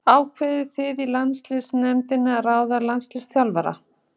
Ákveðið þið í landsliðsnefnd með ráðningu landsliðsþjálfara?